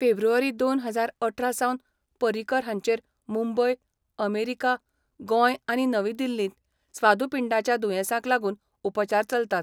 फेब्रुवारी दोन हजार अठरा सावन पर्रिकर हांचेर मुंबय, अमेरीका, गोंय आनी नवी दिल्लींत स्वादुपिंडाच्या दुयेंसाक लागून उपचार चलतात.